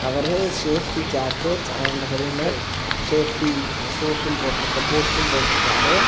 அவறு safety jacket and helmet safety shoe boots போட்டு இருக்காரு.